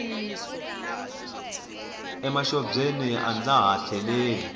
emaxobyeni a ndza ha tleleli